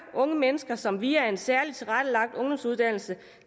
unge mennesker som via en særligt tilrettelagt ungdomsuddannelse